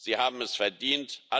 Sie haben es verdient.